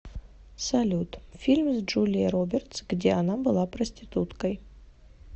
салют фильм с джулией робертс где она была проституткой